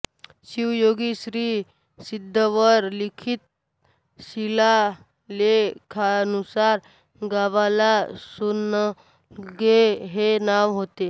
शिवयोगी श्री सिद्धेश्वर लिखित शिलालेखानुसार गावाला सोन्नलगे हे नाव होते